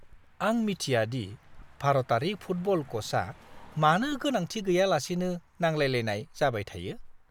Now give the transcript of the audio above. आं मिथिया दि भारतारि फुटबल क'चआ मानो गोनांथि गैयालासेनो नांलायलायनाय जाबाय थायो!